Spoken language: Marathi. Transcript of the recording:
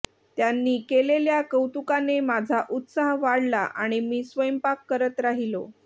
त्यांनी केलेल्या कौतुकाने माझा उत्साह वाढला आणि मी स्वयंपाक करत राहिलो